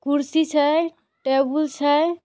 कुर्सी छे टेबुल छे।